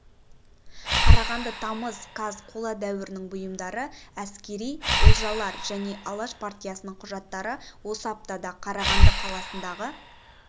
қарағанды тамыз қаз қола дәуірінің бұйымдары әскери олжалар және алаш партиясының құжаттары осы аптада қарағанды қаласындағы